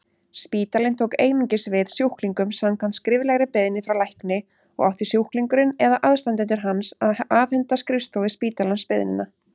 Spítalinn tók einungis við sjúklingum samkvæmt skriflegri beiðni frá lækni og átti sjúklingurinn eða aðstandendur hans að afhenda skrifstofu spítalans beiðnina.